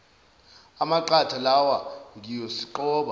amaqatha lawa ngiyosiqoba